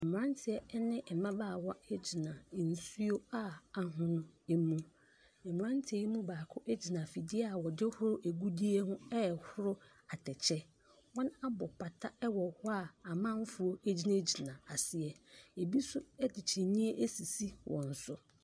Mmrateɛ ne mbabaawa gyina nsuo a ahono mu. Mmranteɛ yi mu baako gyina afidie a wɔdehohro agudie ho a ɛhoro atɛkyɛ. Wɔabɔ pata wɔ hɔ a amanfoɔ gyinagyina aseɛ ebi nso de kyinniɛ asisi wɔn so.